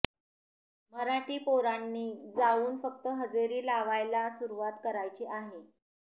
मराठी पोरांनी जाऊन फक्त हजेरी लावायला सुरुवात करायची आहे